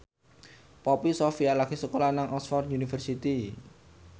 Poppy Sovia lagi sekolah nang Oxford university